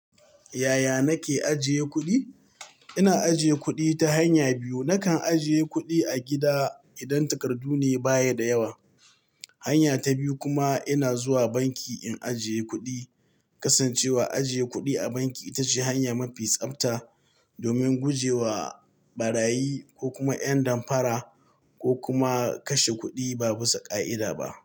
Yaya nake ajiye kuɗi? Ina ajiye kuɗi ta hanya biyu. Nakan ajiye kuɗi a gida idan takardu ne baya da yawa. Hanya ta biyu kuma ina zuwa banki in ajiye kuɗi. Kasancewa ajiye kuɗi a banki ita ce hanya mafi tsabta domin guje wa ɓarayi ko kuma ƴan damfara ko kuma kashe kuɗi babu sa ka'ida ba.